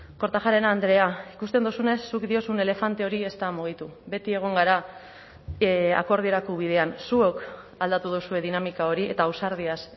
kortajarena andrea ikusten duzunez zuk diozun elefante hori ez da mugitu beti egon gara akordiorako bidean zuok aldatu duzue dinamika hori eta ausardiaz